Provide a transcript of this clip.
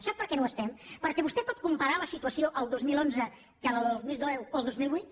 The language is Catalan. sap per què no ho estem perquè vostè pot comparar la situació el dos mil onze que la del dos mil deu o el dos mil vuit